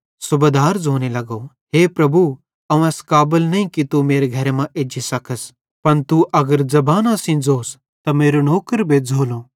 सूबेदार ज़ोने लगो हे प्रभु अवं एस काबल नईं कि तू मेरे घरे मां एज्जी सकस पन तू अगर सिर्फ ज़बाना सेइं ज़ोस त मेरो नौकर बेज़्झ़ोलो